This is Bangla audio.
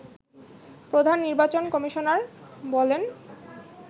প্রধান নির্বাচন কমিশনার বলেন